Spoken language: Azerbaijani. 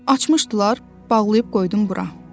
Açmışdılar, bağlayıb qoydum bura.